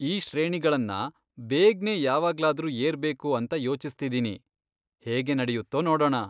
ಈ ಶ್ರೇಣಿಗಳನ್ನ ಬೇಗ್ನೆ ಯಾವಾಗ್ಲದ್ರೂ ಏರ್ಬೇಕು ಅಂತ ಯೋಚಿಸ್ತಿದಿನಿ, ಹೇಗೆ ನಡೆಯುತ್ತೊ ನೋಡೋಣ.